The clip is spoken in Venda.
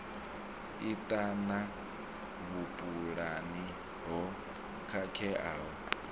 i ṱana vhupulani ho khakheaho